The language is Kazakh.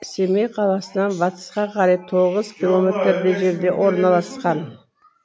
семей қаласынан батысқа қарай тоғыз километрдей жерде орналасқан